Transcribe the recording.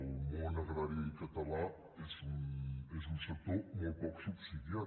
el món agrari català és un sector molt poc subsidiat